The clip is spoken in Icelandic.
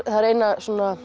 það er eina